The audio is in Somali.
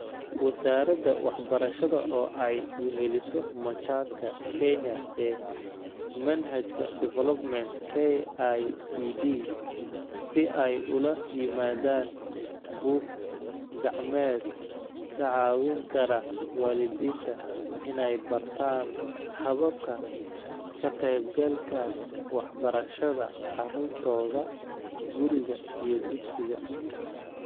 Wasaaradda Waxbarashada oo ay weheliso Machadka Kenya ee Manhajka Development (KICD), si ay ula yimaadaan buug-gacmeed ka caawin kara waalidiinta inay bartaan hababka ka-qaybgalka waxbarashada carruurtooda guriga iyo dugsiga.